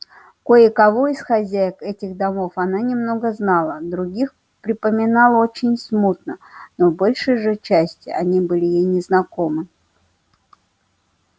кое-кого из хозяек этих домов она немного знала других припоминала очень смутно но в большей же части они были ей незнакомы